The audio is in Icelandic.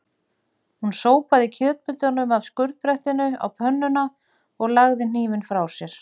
Hún sópaði kjötbitunum af skurðbrettinu á pönnuna og lagði hnífinn frá sér.